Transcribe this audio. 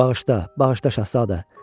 Bağışla, bağışla Şahzadə.